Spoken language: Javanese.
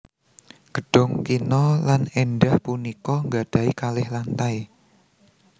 Gedhong kina lan èndah punika nggadhahi kalih lantai